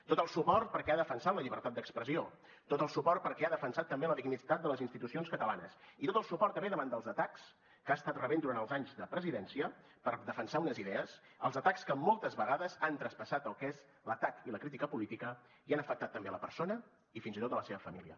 tot el suport perquè ha defensat la llibertat d’expressió tot el suport perquè ha defensat també la dignitat de les institucions catalanes i tot el suport també davant dels atacs que ha estat rebent durant els anys de presidència per defensar unes idees els atacs que moltes vegades han traspassat el que és l’atac i la crítica polítics i han afectat també la persona i fins i tot la seva família